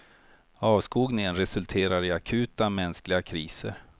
Avskogningen resulterar i akuta, mänskliga kriser.